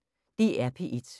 DR P1